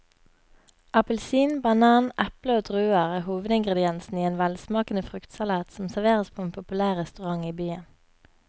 Appelsin, banan, eple og druer er hovedingredienser i en velsmakende fruktsalat som serveres på en populær restaurant i byen.